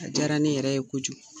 A diyara ne yɛrɛ ye kojugu.